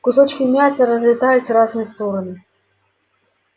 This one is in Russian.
кусочки мяса разлетались в разные стороны